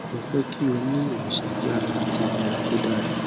mo fẹ ki o ni iwosan yara ati ilera to dara